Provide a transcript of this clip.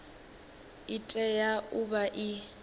i tea u vha i